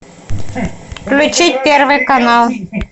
включить первый канал